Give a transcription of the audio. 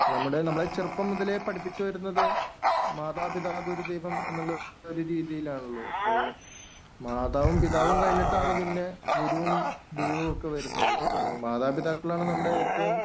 നമ്മടെ നമ്മളെ ചെറുപ്പം മുതലേ പഠിപ്പിച്ചു വരുന്നത് മാതാപിതാഗുരു ദൈവം എന്നുള്ള ഒരു രീതിയിലാണല്ലോ. അപ്പോ മാതാവും, പിതാവും കഴിഞ്ഞിട്ടാണ് പിന്നെ ഗുരുവും, ദൈവവും ഒക്കെ വരുന്നത്. മാതാപിതാക്കളാണ് നമ്മടെ ഏറ്റവും